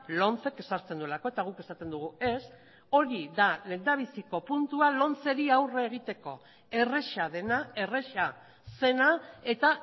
lomcek ezartzen duelako eta guk esaten dugu ez hori da lehendabiziko puntua lomceri aurre egiteko erreza dena erreza zena eta